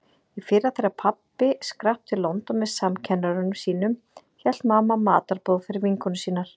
Í fyrra þegar pabbi skrapp til London með samkennurum sínum hélt mamma matarboð fyrir vinkonur sínar.